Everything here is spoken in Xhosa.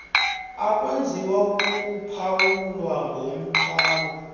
akwenziwa ukuphawulwa komthwalo